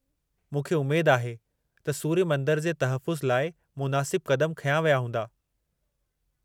मूंखे उमेद आहे त सूर्य मंदर जे तहफ़ुज़ु लाइ मुनासिब क़दमु खंया विया हूंदा।